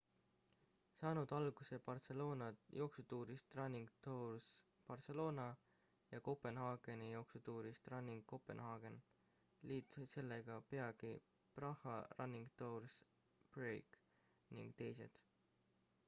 saanud alguse barcelona jooksutuurist running tours barcelona ja kopenhaageni jooksutuurist running copenhagen liitusid sellega peagi praha running tours prague ning teised